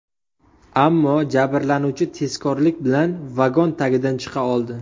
Ammo jabrlanuvchi tezkorlik bilan vagon tagidan chiqa oldi.